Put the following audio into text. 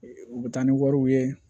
U bɛ taa ni wariw ye